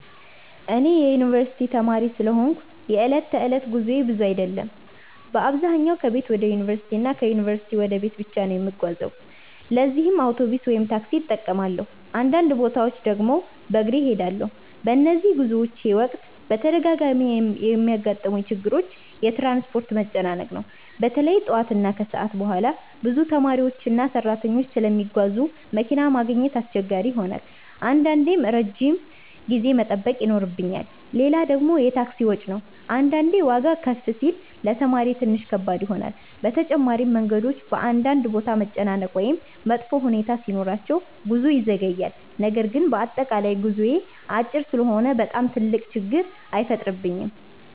እኔ የዩንቨርሲቲ ተማሪ ስለሆንኩ የዕለት ተዕለት ጉዞዬ ብዙ አይደለም። በአብዛኛው ከቤት ወደ ዩንቨርሲቲ እና ከዩንቨርሲቲ ወደ ቤት ብቻ ነው የምጓዘው ለዚህም አውቶቡስ ወይም ታክሲ እጠቀማለሁ፣ አንዳንድ ቦታዎች ድግም በግሬ እሄዳለሁ። በነዚህ ጉዞዎቼ ወቅት በተደጋጋሚ የሚያጋጥሙኝ ችግሮች የትራንስፖርት መጨናነቅ ነው። በተለይ ጠዋት እና ከሰዓት በኋላ ብዙ ተማሪዎችና ሰራተኞች ስለሚጓዙ መኪና ማግኘት አስቸጋሪ ይሆናል አንዳንዴም ረጅም ጊዜ መጠበቅ ይኖርብኛል። ሌላ ደግሞ የታክሲ ወጪ ነው አንዳንዴ ዋጋ ከፍ ሲል ለተማሪ ትንሽ ከባድ ይሆናል። በተጨማሪም መንገዶች በአንዳንድ ቦታ መጨናነቅ ወይም መጥፎ ሁኔታ ሲኖራቸው ጉዞ ይዘገያል። ነገር ግን በአጠቃላይ ጉዞዬ አጭር ስለሆነ በጣም ትልቅ ችግር አይፈጥርብኝም።